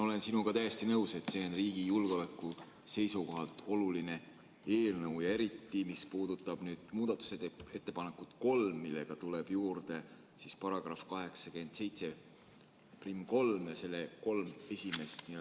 Olen sinuga täiesti nõus, et see on riigi julgeoleku seisukohalt oluline eelnõu ja eriti, mis puudutab muudatusettepanekut nr 3, millega tuleb juurde § 873 ja selle kolm esimest lõiget.